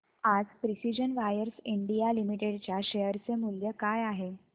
आज precision wires India limited च्या share चे मूल्य काय आहे